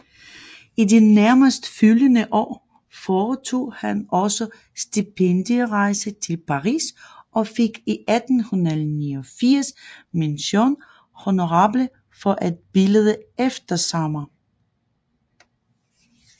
I de nærmest følgende år foretog han også stipendierejser til Paris og fik 1889 mention honorable for et billede Eftersommer